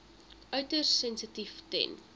uiters sensitief ten